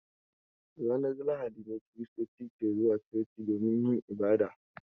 Ranar lahadi ne kiristoci ke zuwa coci domin yin ibada.